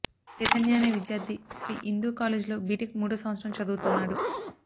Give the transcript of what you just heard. చైతన్య అనే విద్యార్థి శ్రీ ఇందూ కాలేజీలో బిటెక్ మూడో సంవత్సరం చదువుతున్నాడు